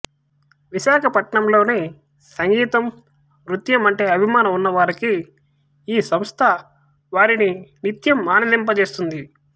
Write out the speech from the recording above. విశాఖపట్నంలోని సంగీతం నృత్యం అంటే అభిమానం ఉన్నవారికి ఈ సంస్థ వారిని నిత్యం ఆనందింపచేస్తుంది